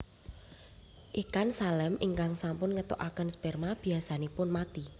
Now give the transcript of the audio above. Ikan salem ingkang sampun ngetoaken sperma biasanipun mati